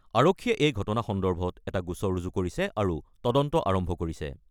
আৰক্ষীয়ে এই ঘটনা সন্দৰ্ভত এটা গোচৰ ৰুজু কৰিছে আৰু তদন্ত আৰম্ভ কৰিছে।